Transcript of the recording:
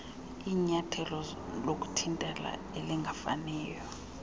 linyathelo lokuthintela elingafaniyo